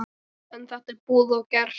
En þetta er búið og gert.